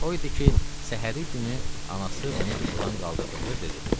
O idi ki, səhəri günü anası onu yuxudan qaldırdıqda dedi.